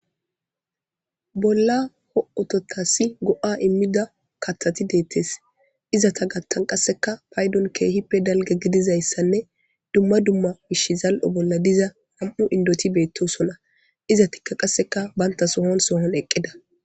bolla ho7ototasi go7a immida kathati deettes izata gattan qasseka paydon keehippe dalge gidizayssanne dumma dumma bish zal7o bolla diza ham7u indoti beettosona iza tikka qasseka banta sohon sohon eqqida